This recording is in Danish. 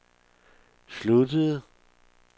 sluttede